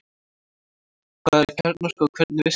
Hvað er kjarnorka og hvernig virkar hún?